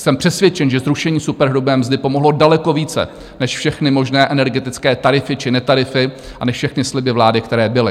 Jsem přesvědčen, že zrušení superhrubé mzdy pomohlo daleko více než všechny možné energetické tarify či netarify a než všechny sliby vlády, které byly.